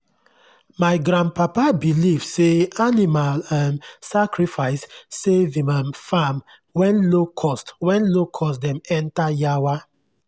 my grandpapa believe say animal um sacrifice save him um farm when locust when locust dem enter yawa.